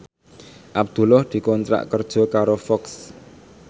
Abdullah dikontrak kerja karo Fox